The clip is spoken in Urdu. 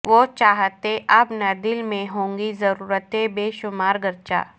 وہ چاہتیں اب نہ دل میں ہونگی ضرورتیں بے شمار گرچہ